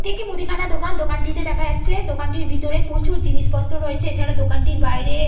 এটি একটি মুদিখানার দোকান। দোকানটিতে দেখা যাচ্ছে দোকানটির ভিতরে প্রচুর জিনিসপত্র রয়েছে। এছাড়া দোকানটির বাইরে।